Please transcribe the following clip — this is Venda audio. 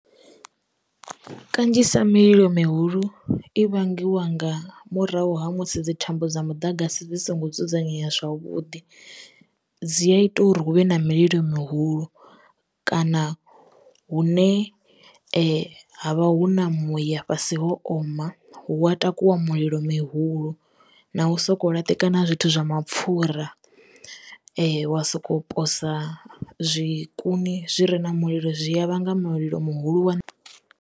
Kanzhisa mililo mihulu i vhangiwa nga murahu ha musi dzi thambo dza mudagasi dzi songo dzudzanyeya zwavhuḓi dzi a ita uri hu vhe na mililo mihulu kana hune havha hu na muya fhasi ho oma hu wa takuwa mulilo mihulu na u soko laṱekana zwithu zwa mapfura wa soko posa zwikuni zwi re na mulilo zwi ya vhanga mulilo muhulu.